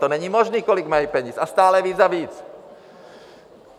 To není možný, kolik mají peněz, a stále víc a víc!